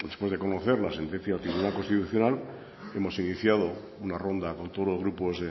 después de conocer la sentencia del tribunal constitucional hemos iniciado una ronda con todos los grupos